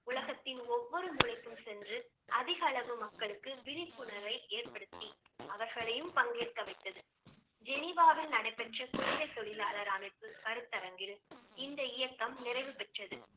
உலகத்தின் ஒவ்வொரு மூலைக்கும் சென்று அதிக அளவு மக்களுக்கு விழிப்புணர்வை ஏற்படுத்தி அவர்களையும் பங்கேற்க வைத்தது. ஜெனிவாவில் நடைபெற்ற குழந்தை தொழிலாளர் அமைப்பு கருத்தரங்கில் இந்த இயக்கம் நிறைவு பெற்றது